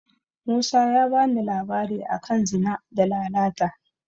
Musa ya bani labari a kan Zina da Lalata.